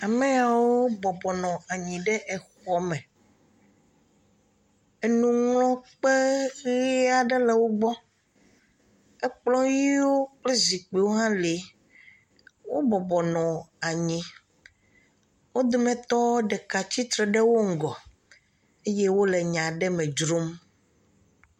Ame yawo bɔbɔ nɔ anyi ɖe exɔme enuŋlɔkpe ʋe aɖe le wogbɔ. Ekplɔ̃ ʋiwo kple zikpiwo hã le. Wobɔbɔ nɔ anyi. Wo dometɔ ɖeka tsitsre ɖe wo ŋgɔ eye wole nya aɖe me dzrom.